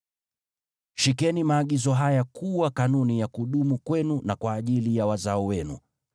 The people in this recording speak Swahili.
“Shikeni maagizo haya yawe kanuni ya kudumu kwenu na kwa ajili ya wazao wenu.